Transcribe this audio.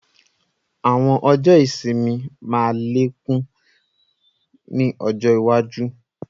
Àwọn ọjọ́ ìsinmi máa lékún ni ọjọ́ iwaju